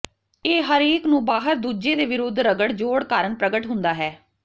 ਇਹ ਹਰੇਕ ਨੂੰ ਬਾਹਰ ਦੂਜੇ ਦੇ ਵਿਰੁੱਧ ਰਗੜ ਜੋਡ਼ ਕਾਰਨ ਪ੍ਰਗਟ ਹੁੰਦਾ ਹੈ